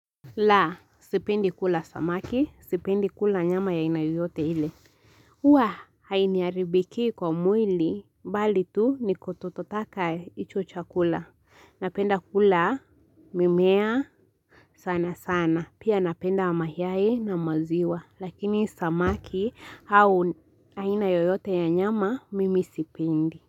Laa, sipendi kula samaki, sipendi kula nyama ya aina yoyote ile. Huwa, hainiharibikii kwa mwili, bali tu ni kutototaka hicho chakula. Napenda kula, mimea, sana sana. Pia napenda mayai na maziwa. Lakini samaki au aina yoyote ya nyama, mimi sipendi.